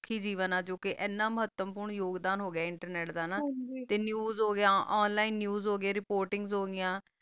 ਕੀ ਜੀਵਨ ਆ ਆ ਜਰਾ internet ਵੋਰਕ ਹ ਗਾ ਆ news ਮਾਤਮ ਹੁਣ ਉਸੇ ਹੋ ਰਹਾ ਆ ਕਾ ਤਾ online news ਹੋ ਗਯਾ ਆ ਨੇਵ੍ਸ ਹੋ ਗਯਾ ਯੋ ਲੀਨੇ